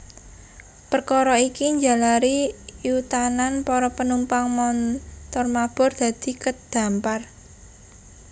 Perkara iki njalari yutanan para penumpang montor mabur dadi kedampar